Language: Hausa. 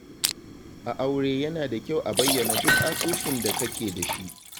A aure yana da kyau a bayyana duk asusun da kake da shi.